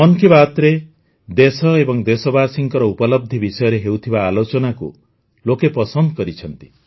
ମନ୍ କି ବାତ୍ରେ ଦେଶ ଏବଂ ଦେଶବାସୀଙ୍କ ଉପଲବ୍ଧି ବିଷୟରେ ହେଉଥିବା ଆଲୋଚନାକୁ ଲୋକେ ପସନ୍ଦ କରିଛନ୍ତି